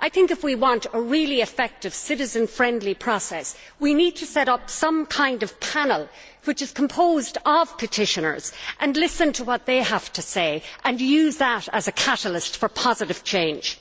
I think if we want a really effective, citizen friendly process, we need to set up some kind of panel composed of petitioners and then listen to what they have to say and use that as a catalyst for positive change.